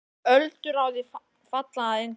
Öldur á því falla að engu.